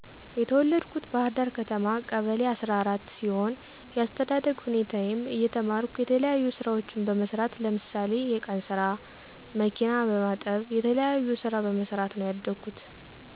የተወለድኩት ባህርዳር ከተማ ቀበሌ አሰራ አራት ሲሆን የአስተዳደግ ሁኔታየም እየተማረኩ የተለያዩ ስራዎችን በመስራት ለምሳሌ የቀንስራ፣ መኪና በመጠብ የተለያዩ ስራ በመሰራት ነው ያደኩት።